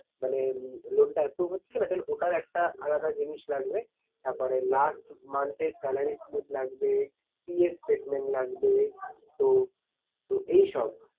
মানে loan টা এতো হচ্ছে না then ওটার একটা আলাদা জিনিস লাগবে। তারপরে last month এর salary slip লাগবে PF statement লাগবে তো, তো এই সব